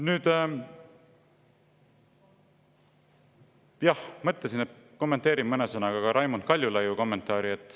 Nüüd, jah, mõtlesin, et kommenteerin mõne sõnaga ka Raimond Kaljulaiu kommentaari.